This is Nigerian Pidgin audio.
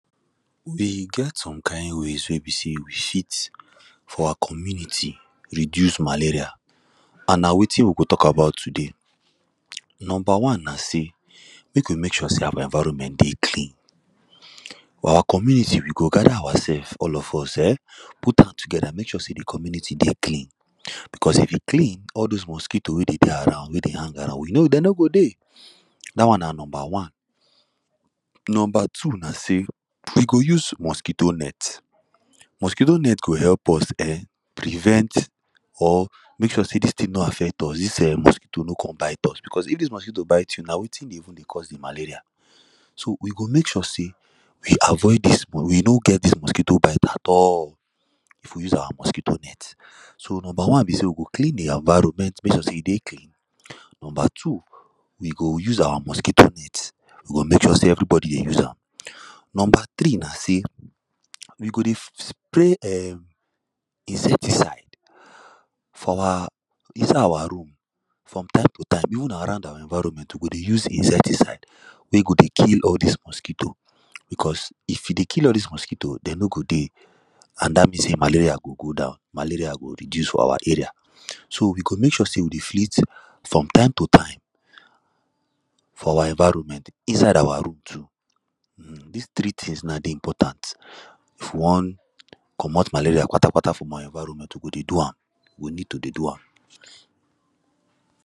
E get some kind ways wey be say we fit for our community reduce malaria and na wetin we go talk about today Number one na say make we make sure say our environment dey clean clean for our community with go gather ourselves all of us um put hand together make sure say the community dey clean because if e clean all this mosquitoes wey dey dey around wey dey hang around dem no go dey. That one na number one Number two na say we go use mosquito net; mosquito net go help us um prevent or make sure say this thing no affect us this um mosquito no come bite us because if this mosquito bite you now wetin dey even dey cause the malaria so we go make sure sey we avoid this we no get this mosquito bite at all if we use our mosquito net so number one be say we go clean the environment make sure say e dey clean. Number two we go use our mosquito net we go make sure say everybody dey use am Number three na say we go dey spray um insecticide for our inside our room from time to time even around our environment we go dey use insecticide wey go dey kill all this mosquito because if e dey kill all this mosquito dem no go dey and that means say malaria go go down malaria go reduce for our area. So we go make sure say we dey flit from time to time for our environment inside our room too um this three thing now dey important if you wan comot malaria kpatakpata for our environment we go do am we need to dey do am.